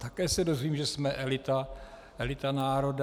Také se dozvím, že jsme elita, elita národa.